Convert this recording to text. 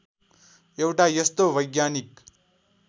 एउटा यस्तो वैज्ञानिक